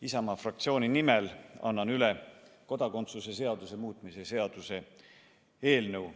Isamaa fraktsiooni nimel annan üle kodakondsuse seaduse muutmise seaduse eelnõu.